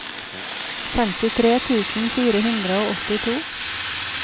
femtitre tusen fire hundre og åttito